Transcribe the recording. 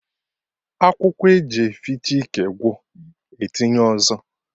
Akwụkwọ eji efiche ike gwụ, etinye ọzọ